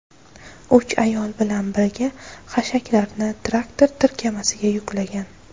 uch ayol bilan birga hashaklarni traktor tirkamasiga yuklagan.